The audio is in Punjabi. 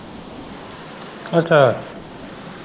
ਅੱਛਾ।